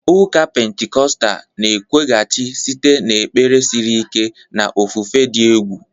Ụka Pentikọstal na-ekwughachi site n'ekpere siri ike na ofufe dị egwu.